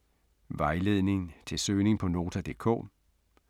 Vejledning til søgning på Nota.dk: